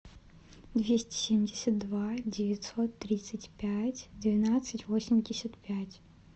двести семьдесят два девятьсот тридцать пять двенадцать восемьдесят пять